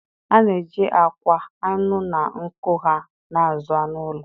A na-eji akwa, anụ, na nku ha na-azụ anụ ụlọ.